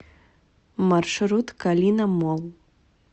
маршрут калина молл